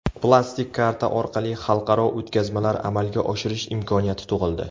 Plastik karta orqali xalqaro o‘tkazmalar amalga oshirish imkoniyati tug‘ildi.